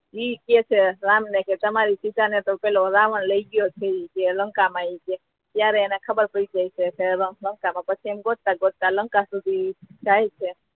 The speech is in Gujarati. ઈ કહે છે રામ ને કે તમારી સીતા ને તો પેલો રાવણ લઈ ગયો છે કે લંકા ઈ કે કઈ ત્યારે એને ખબર પડી જાય છે પછી એ ગોતતા ગોતતા લંકા સુધી જાય છે